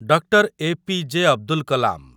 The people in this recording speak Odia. Doctor A P J. ଅବଦୁଲ କଲାମ